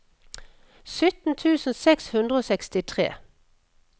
sytten tusen seks hundre og sekstitre